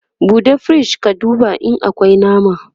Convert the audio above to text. ɓuɗe firij ka duba in akwi nama!